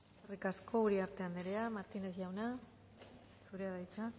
eskerrik asko uriarte anderea martínez jauna zurea da hitza